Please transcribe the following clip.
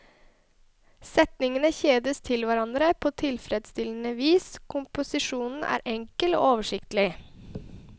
Setningene kjedes til hverandre på tilfredsstillende vis, komposisjonen er enkel og oversiktlig.